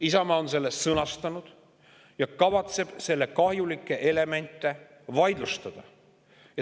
Isamaa on selle sõnastanud ja kavatseb selle kahjulikke elemente vaidlustada.